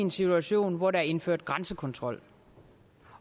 en situation hvor der er indført grænsekontrol